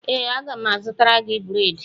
Ee, m ga-azụtara gị bredị